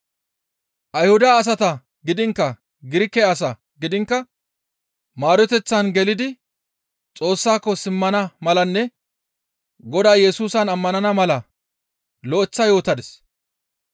Ayhuda asata gidiinkka Girike asaa gidiinkka maaroteththan gelidi Xoossaako simmana malanne Godaa Yesusan ammanana mala lo7eththa yootadis.